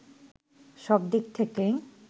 সব দিক থেকেই